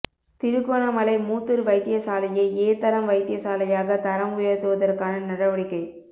திருகோணமலை மூதூர் வைத்தியசாலையை ஏ தரம் வைத்தியசாலையாக தரம் உயர்த்துவதற்கான நடவடிக்கை